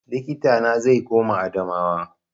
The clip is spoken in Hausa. Likita na zai koma Adamawa